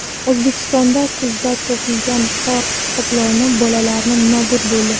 O‘zbekistonda kuzda topilgan qor qoploni bolalari nobud bo‘ldi.